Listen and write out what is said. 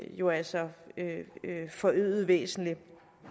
jo altså forøget væsentligt